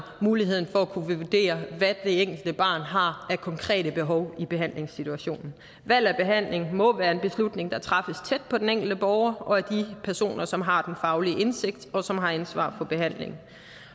muligheden for at kunne vurdere hvad det enkelte barn har af konkrete behov i behandlingssituationen valg af behandling må være en beslutning der træffes tæt på den enkelte borger og af de personer som har den faglige indsigt og som har ansvaret for behandlingen